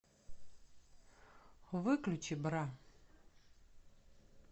выключи бра